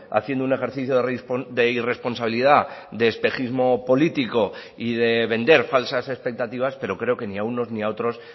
haciendo un ejercicio de irresponsabilidad de espejismo político y de vender falsas expectativas pero creo que ni a unos ni a otros